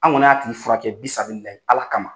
An kɔni y'a tigi fura kɛ Ala kama.